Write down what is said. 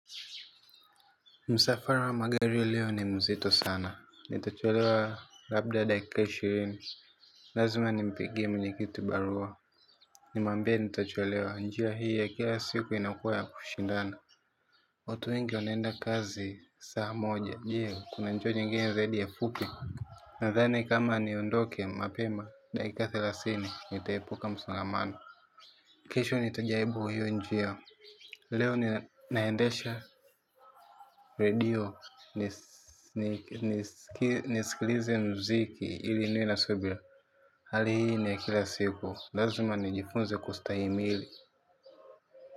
Msafara wa magari leo ni mzito sana. Nitachelewa labda dakika ishirini. Lazima nimpigie mwenye kiti barua. Nimwambie nitachelewa. Njia hii ya kila siku inakuwa ya kushindana. Watu wengi wanaenda kazi saa moja. Je, kuna njia nyingine zaidi ya fupi? Nadhani kama niondoke mapema dakika thelathini. Nitaepuka msongamano. Kesho nitajaribu hiyo njia. Leo naendesha redio. Nisikilize muziki ili niwe na subira. Hali hii ni ya kila siku. Lazima nijifunze kustahimili.